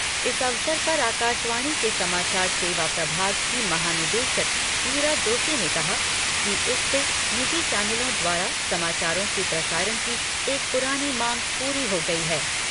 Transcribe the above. इस अवसर पर आकाशवाणी के समाचार सेवा प्रभाग की महानिदेशक ईरा जोशी ने कहा कि इससे निजी चैनलों द्वारा समाचारों के प्रसारण की एक पुरानी मांग पूरी हो गई है।